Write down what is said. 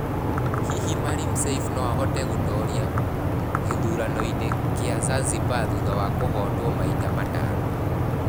Hihi Maalim Seif no ahote gũtoria gĩthuranoinĩ kĩa Zanzibar thutha wa kũhootwo maita matano?